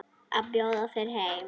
Að bjóða þér heim.